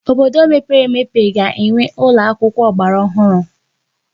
Obodo mepere emepe ga na-enwe ụlọ akwụkwọ ọgbaraọhụrụ.